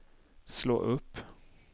slå upp